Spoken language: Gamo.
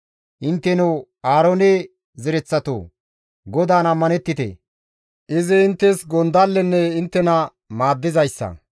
Intteno Aaroone zereththatoo! GODAAN ammanettite! Izi inttes gondallenne inttena maaddizaade.